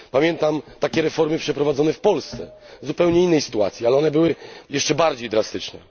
Pamiętam takie reformy przeprowadzone w Polsce, w zupełnie innej sytuacji, i były one jeszcze bardziej drastyczne.